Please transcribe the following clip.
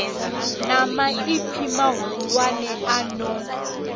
na maipfi mahulwane a no